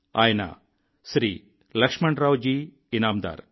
ఆయన శ్రీ లక్ష్మణరావు జీ ఇనామ్దార్